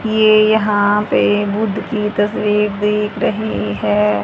ये यहां पे बुद्ध की तस्वीर दिख रही है।